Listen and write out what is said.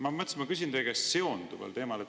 Aga ma mõtlesin, et ma küsin teie käest seonduval teemal.